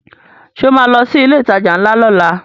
Ṣo ma lọ sí ilé ìtajà ńlá lọ́la?